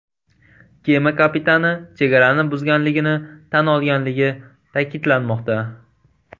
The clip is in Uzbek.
Kema kapitani chegarani buzganligini tan olganligi ta’kidlanmoqda.